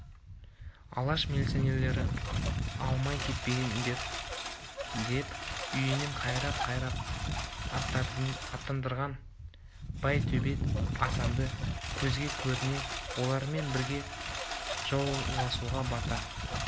алаш милицияларына алмай кетпеңдер деп үйінен қайрап-қайрап аттандырған байтөбет асанды көзге көріне олармен бірге жауласуға бата